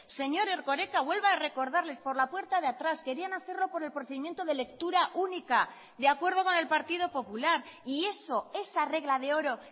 señor erkoreka vuelva a recordarles por la puerta de atrás querían hacerlo por el procedimiento de lectura única de acuerdo con el partido popular y eso esa regla de oro